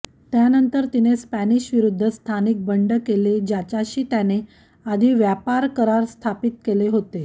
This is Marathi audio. त्यानंतर तिने स्पॅनिश विरुद्ध स्थानिक बंड केले ज्याच्याशी त्याने आधी व्यापार करार स्थापित केले होते